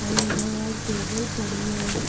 और इधर wall table पड़ी है।